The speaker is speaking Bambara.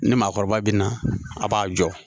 Ni maakɔrɔba bina a b'a jɔ